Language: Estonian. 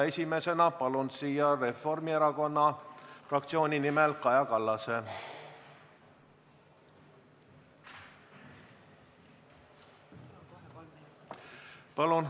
Esimesena palun siia Reformierakonna fraktsiooni nimel Kaja Kallase.